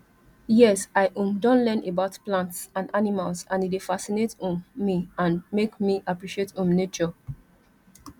yes i um don learn about plants and animals and e dey fascinate um me amd make me appreciate um nature